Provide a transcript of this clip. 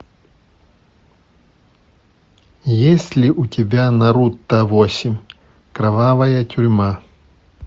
есть ли у тебя наруто восемь кровавая тюрьма